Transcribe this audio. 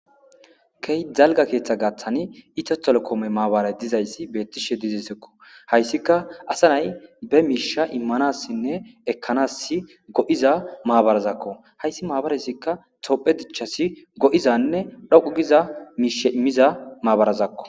Kehi dalga ketha giathani ethio telecom mabaray dizaysa betishe dizaysakko haysikka asa nayi be misha imanasinne ekansi go'iza mabarazakko haysi mabarazikka tophe dicasi go'izanne dhoqu giza mishe imiza mabarazakko